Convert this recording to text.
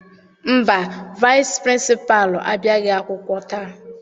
Mba, vaịsị pịrịnsịpalụ abịaghị akwụkwọ taa.